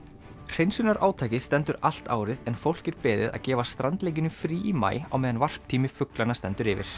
hreinsunarátakið stendur allt árið en fólk er beðið að gefa strandlengjunni frí í maí á meðan fuglanna stendur yfir